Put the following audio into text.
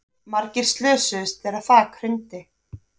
Margir slösuðust þegar þak hrundi